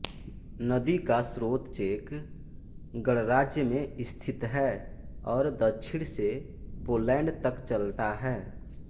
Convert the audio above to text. नदी का स्रोत चेक गणराज्य में स्थित है और दक्षिण से पोलैंड तक चलता है